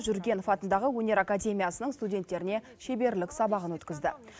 жүргенов атындағы өнер академиясының студенттеріне шеберлік сабағын өткізді